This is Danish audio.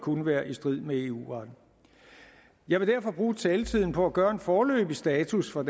kunne være i strid med eu retten jeg vil derfor bruge taletiden på at gøre en foreløbig status for